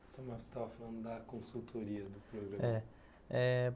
Você estava falando da consultoria do programa. É.